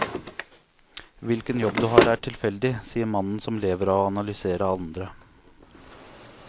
Hvilken jobb du har er tilfeldig, sier mannen som lever av å analysere andre.